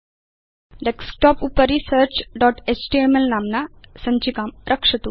desktop उपरि searchएचटीएमएल नाम्ना सञ्चिकां रक्षतु